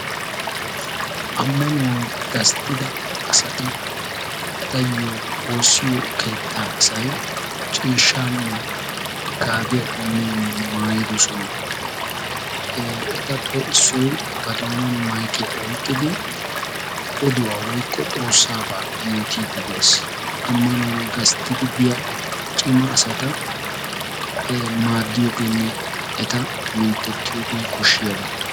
Ammanuwan gastida tiransporttiyaanne kaamiya ha asati cadiidi de'iyo koyro tokketidaagee de'iyo koyro go'iya gididi eta mintettiyooge koshiyaba.